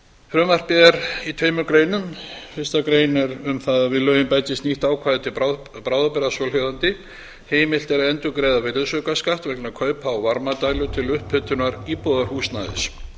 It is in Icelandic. frumvarpið er í tveimur greinum fyrstu grein er um það að við lögin bætist nýtt ákvæði til bráðabirgða svohljóðandi heimilt er að endurgreiða virðisaukaskatt vegna kaupa á varmadælu til upphitunar íbúðarhúsnæðis